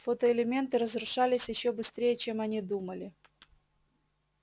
фотоэлементы разрушались ещё быстрее чем они думали